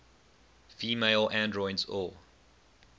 female androids or